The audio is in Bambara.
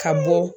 Ka bɔ